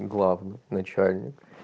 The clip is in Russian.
главный начальник